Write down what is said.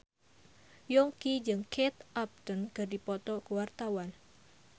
Yongki jeung Kate Upton keur dipoto ku wartawan